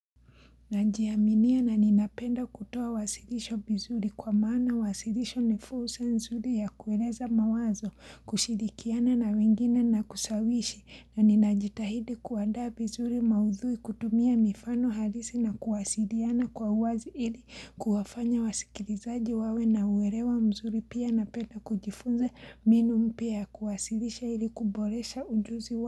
Najiaminia na ninapenda kutoa uwasilisho vizuri kwa maana uwasilisho ni full sensory ya kueleza mawazo kushirikiana na wengine na kusawishi na ninajitahidi kuandaa vizuri maudhui kutumia mifano halisi na kuwasiliana kwa uwazi ili kuwafanya wasikilizaji wawe na uelewa mzuri pia napenda kujifunza mbinu mpya ya kuwasilisha ili kuboresha ujuzi wa.